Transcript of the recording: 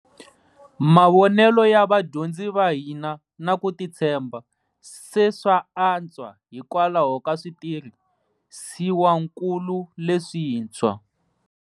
Mavonelo ya vadyondzi va hina na ku titshemba se swa antswa hikwalaho ka switirhisiwankulu leswintshwa.